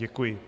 Děkuji.